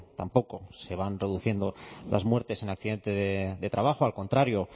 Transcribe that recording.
tampoco se van reduciendo las muertes en accidentes de trabajo al contrario